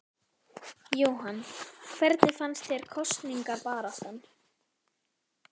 Jóhann: Hvernig fannst þér kosningabaráttan?